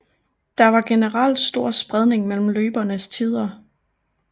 Der var generelt stor spredning mellem løbernes tider